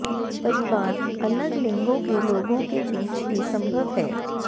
परिवार अलग लिंगों के लोगों के बीच ही संभव है